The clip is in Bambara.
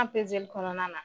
An kɔnɔna na.